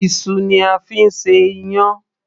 iṣu ni a fi ń ṣe iyán